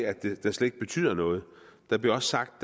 at den slet ikke betyder noget det blev også sagt